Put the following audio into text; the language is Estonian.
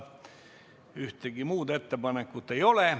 Ühtegi muud ettepanekut ei ole.